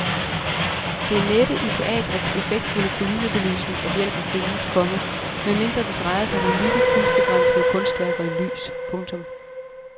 Det er næppe i teatrets effektfulde kulissebelysning at hjælpen findes, komma medmindre det drejer sig om unikke tidsbegrænsede kunstværker i lys. punktum